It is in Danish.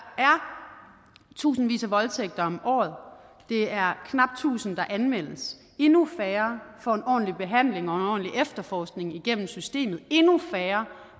tusindvis af voldtægter om året det er knap tusind der anmeldes endnu færre får en ordentlig behandling ordentlig efterforskning igennem systemet endnu færre